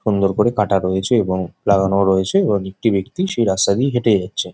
সুন্দর করে কাটা রয়েছে এবং লাগানো রয়েছে এবং একটি ব্যাক্তি সেই রাস্তা দিয়ে হেঁটে যাচ্ছে।